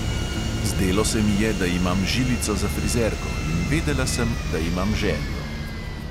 Zdelo se mi je, da imam žilico za frizerko, in vedela sem, da imam željo.